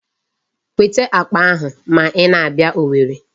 Weta akpa ahụ ma ị na-abịa Owerri.